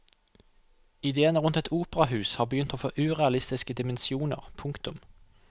Idéene rundt et operahus har begynt å få urealistiske dimensjoner. punktum